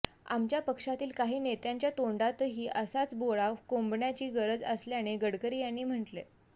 आमच्या पक्षातील काही नेत्यांच्या तोंडातही असाच बोळा कोंबण्याची गरज असल्याचे गडकरी यांनी म्हटले